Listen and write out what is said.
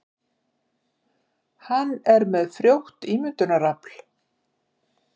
Hann er með frjótt ímyndunarafl.